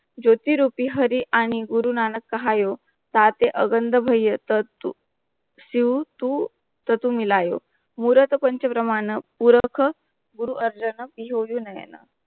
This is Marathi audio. ज्योती रुपी हरी आणि गुरुनानक टाहाईयों ताटे अगंड भैया टॅटू शिव तू टॅटू मिलयो मुरत प्राणच ब्रम्ह पूरक गुरु अर्जांना नई हेना